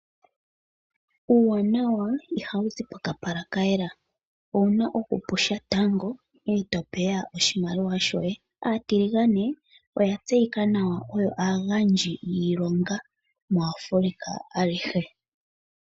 Uuwanawa iha wu zi pokapala ka yela. Ouna okupusha tango ee to peya oshimaliwa shoye. Aatiligane oya tseyika nawa oyo aagandji yiilonga muAfrica alihe.